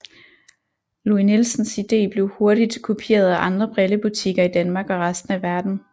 Louis Nielsens idé blev hurtigt kopieret af andre brillebutikker i Danmark og resten af verden